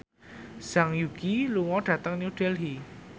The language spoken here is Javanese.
Zhang Yuqi lunga dhateng New Delhi